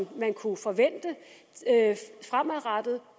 kunne forventes fremadrettet